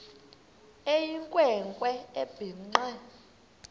eyinkwe nkwe ebhinqe